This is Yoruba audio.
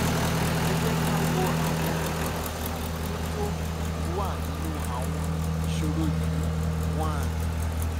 ẹ jẹ́ ká wo àwọn ààlà tó tó wà nínú àwọn ìṣòro yìí one